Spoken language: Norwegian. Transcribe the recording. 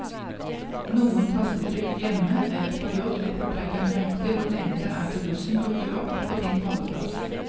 Noen tastetrykk hjemme eller på jobb vil fortelle deg nøyaktig hvor lenge det er til bussen dukker opp på din holdeplass.